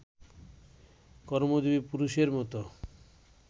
কর্মজীবী পুরুষের মতো